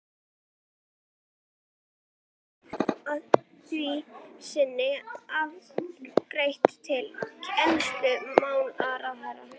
Svo fellt var málið að því sinni afgreitt til kennslumálaráðherra.